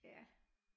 Ja